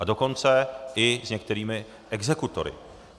A dokonce i s některými exekutory.